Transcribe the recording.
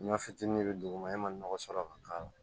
Ɲɔ fitini be duguma e ma nɔgɔ sɔrɔ ka k'ala